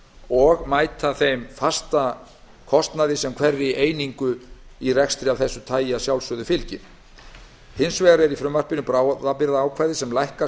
og mæta þeim fasta kostnaði sem fylgir að sjálfsögðu hverri einingu í rekstri af þessu tagi hins vegar er í frumvarpinu bráðabirgðaákvæði sem lækkar